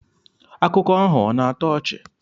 Akụkọ ahụ ọ̀ na-atọ ọchị?